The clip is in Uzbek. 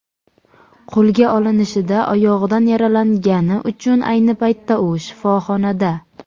Qo‘lga olinishida oyog‘idan yaralangni uchun ayni paytda u shifoxonada.